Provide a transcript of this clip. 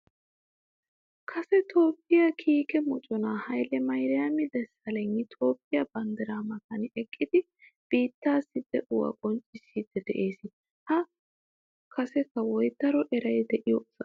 Kase Toophphiya kiike mocona haylle mariyama desalegni Toophphiya banddira matan eqqidi biittaassi de'uwa qonccisside de'ees. Ha kase kawoy daro eray de'iyo asaa.